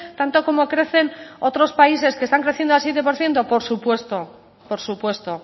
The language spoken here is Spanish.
tanto como crecen otros países que están creciendo al siete por ciento por supuesto por supuesto